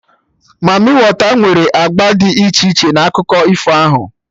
Mamịwater nwere agba dị iche iche na akụkọ ifo ahụ